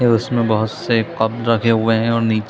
है उसमें बहुत से कप रखे हुए है और नी --